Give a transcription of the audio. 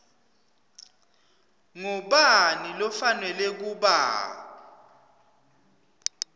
ngubani lofanelwe kuba